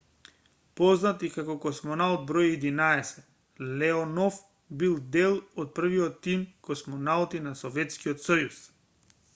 познат и како космонаут бр 11 леонов бил дел од првиот тим космонаути на советскиот сојуз